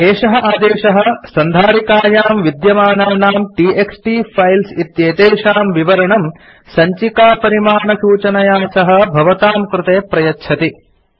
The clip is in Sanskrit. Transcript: एषः आदेशः सन्धारिकायां विद्यमानानाम् टीएक्सटी फाइल्स् इत्येतेषां विवरणं सञ्चिकापरिमाणसूचनया सह भवतां कृते प्रयच्छति